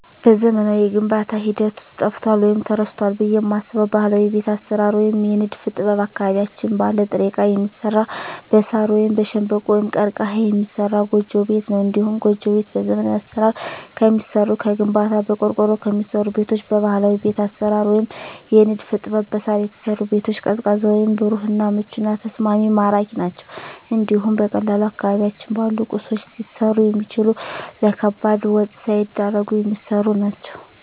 በዘመናዊው የግንባታ ሂደት ውስጥ ጠፍቷል ወይም ተረስቷል ብየ የማስበው ባህላዊ የቤት አሰራር ወይም የንድፍ ጥበብ አካባቢያችን ባለ ጥሬ እቃ የሚሰራ በሳር ወይም በሸንበቆ(ቀርቀሀ) የሚሰራ ጎጆ ቤት ነው። እንዲሁም ጎጆ ቤት በዘመናዊ አሰራር ከሚሰሩ ከግንባታ፣ በቆርቆሮ ከሚሰሩ ቤቶች በባህላዊ ቤት አሰራር ወይም የንድፍ ጥበብ በሳር የተሰሩ ቤቶች ቀዝቃዛ ወይም ብሩህ እና ምቹና ተስማሚ ማራኪ ናቸው እንዲሁም በቀላሉ አካባቢያችን ባሉ ቁሶች ሊሰሩ የሚችሉ ለከባድ ወጭ ሳይዳርጉ የሚሰሩ ናቸው።